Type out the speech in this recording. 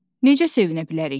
necə sevinə bilərik ki?